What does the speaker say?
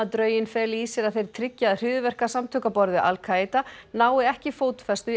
drögin feli í sér að þeir tryggi að hryðjuverkasamtök á borð við Al Kaída nái ekki fótfestu í